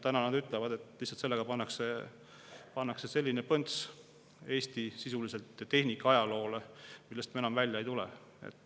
Nad ütlevad, et sellega pannakse sisuliselt Eesti tehnikaajaloole selline põnts, millest me enam välja ei tule.